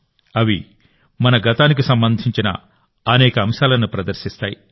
అవి మన గతానికి సంబంధించిన అనేక అంశాలను ప్రదర్శిస్తాయి